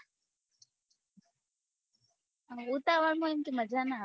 હા ઉતાવળ માં મજા ના આવે